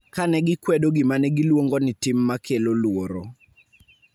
Ka ne gikwedo gima ne giluongo ni tim ma kelo luoro,